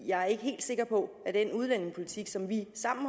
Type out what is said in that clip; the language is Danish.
jeg er ikke helt sikker på at den udlændingepolitik som vi sammen